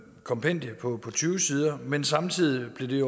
kompendie på tyve sider men samtidig med det